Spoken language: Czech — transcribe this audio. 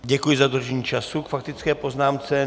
Děkuji za dodržení času k faktické poznámce.